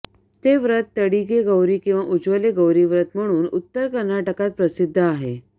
ते व्रत तडिगे गौरी किंवा उज्जले गौरी व्रत म्हणून उत्तर कर्नाटकात प्रसिद्ध आहे